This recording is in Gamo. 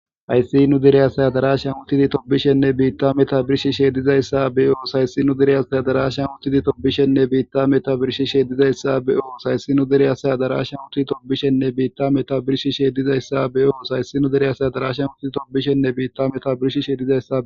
Hayssi nu dere asay adaraashan uththidi tophphishenne biiththaa metuwaa birshshishee dizayssa be7os; Hayssi nu dere asay adaraashan uththidi tophphishenne biiththaa metuwaa birshshishee dizayssa be7os; Hayssi nu dere asay adaraashan uththidi tophphishenne biiththaa metuwaa birshshishee dizayssa be7os; Hayssi nu dere asay adaraashan uththidi tophphishenne biiththaa metuwaa birshshishee dizayssa be7os; Hayssi nu dere asay adaraashan uththidi tophphishenne biiththaa metuwaa birshshishee dizayssa be7os.